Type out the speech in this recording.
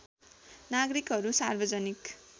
नागरिकहरू सार्वजनिक